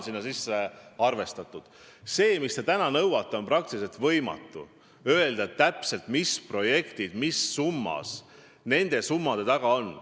See, mis te täna nõuate, on praktiliselt võimatu: ei saa täpselt öelda, mis projektid mis summas selle raha eest käivitatakse.